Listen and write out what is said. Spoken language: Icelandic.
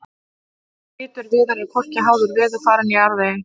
litur viðar er hvorki háður veðurfari né jarðvegi